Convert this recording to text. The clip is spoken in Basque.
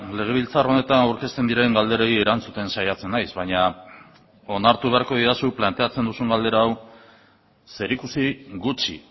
legebiltzar honetan aurkezten diren galderei erantzuten saiatzen naiz baina onartu beharko didazu planteatzen duzun galdera hau zerikusi gutxi